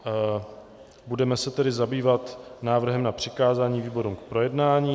Budeme se tedy zabývat návrhem na přikázání výborům k projednání.